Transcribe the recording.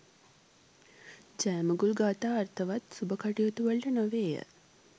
ජයමඟුල් ගාථා අර්ථවත් සුබ කටයුතු වලට නොවේය.